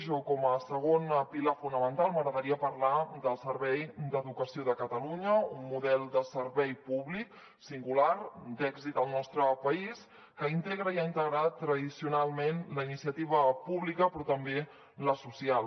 o com a segon pilar fonamental m’agradaria parlar del servei d’educació de catalunya un model de servei públic singular d’èxit al nostre país que integra i ha integrat tradicionalment la iniciativa pública però també la social